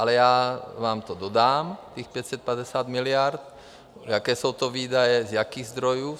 Ale já vám to dodám, těch 550 miliard, jaké jsou to výdaje, z jakých zdrojů.